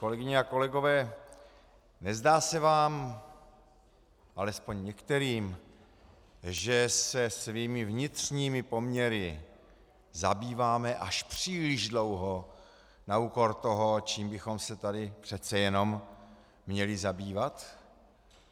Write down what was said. Kolegyně a kolegové, nezdá se vám, alespoň některým, že se svými vnitřními poměry zabýváme až příliš dlouho na úkor toho, čím bychom se tady přece jenom měli zabývat?